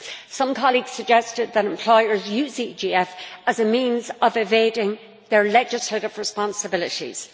Some colleagues suggested that employers are using the EGF as a means of evading their legislative responsibilities.